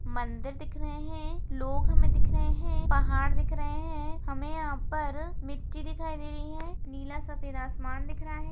मंदिर दिख रहे हैं लोग हमें दिख रहे हैं पहाड़ दिख रहे हैं हमें यहां पर मिटटी दिखाई दे रही है नीला सफेद आसमान दिख रहा है।